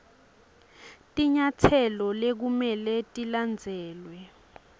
tinyatselo lekumele tilandzelwe